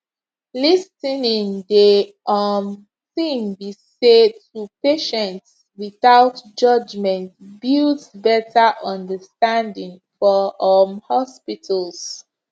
lis ten ing de um tin be say to patients without judgment builds betta understanding for um hospitals